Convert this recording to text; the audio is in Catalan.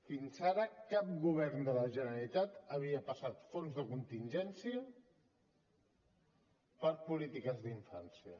fins ara cap govern de la generalitat havia passat fons de contingència per polítiques d’infància